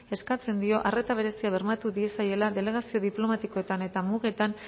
eskatzen dio arreta berezia bermatu diezaiela delegazio diplomatikoetan eta mugetan